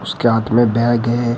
उसके हाथ में बैग है।